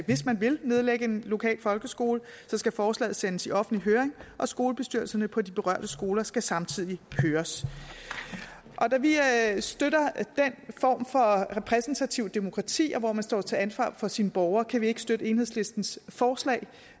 hvis man vil nedlægge en lokal folkeskole skal forslaget sendes i offentlig høring og skolebestyrelserne på de berørte skoler skal samtidig høres da vi støtter den form for repræsentativt demokrati hvor man står til ansvar for sine borgere kan vi ikke støtte enhedslistens forslag